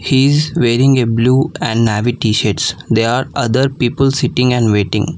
He is a wearing a blue and navy tshirts they are other people sitting and waiting.